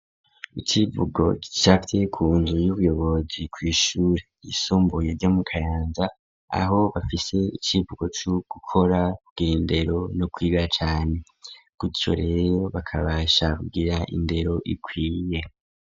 Icivugo gicafye ku nzu y'ubuyobozi kw'ishure ryisumboye ryo mu Kayanza aho bafise icivugo co gukora, ku gira indero no kwiga cane gutyo rero bakabasha ku gira indero ikwiye.